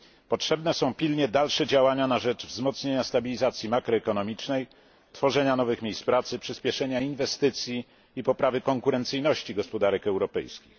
Potrzebne są pilnie dalsze działania na rzecz wzmocnienia stabilizacji makro ekonomicznej, tworzenia nowych miejsc pracy, przyspieszenia inwestycji i poprawy konkurencyjności gospodarek europejskich.